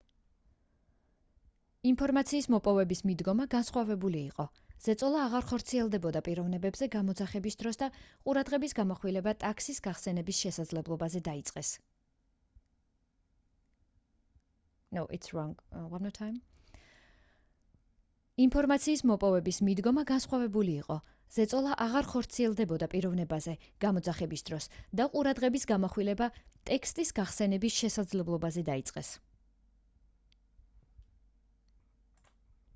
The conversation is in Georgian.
ინფორმაციის მოპოვების მიდგომა განსხვავებული იყო ზეწოლა აღარ ხორციელდებოდა პიროვნებაზე გამოძახების დროს და ყურადღების გამახვილება ტექსტის გახსენების შესაძლებლობაზე დაიწყეს